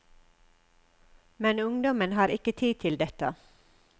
Men ungdommen har ikke tid til detta.